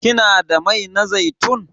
Kina da mai na zaitun?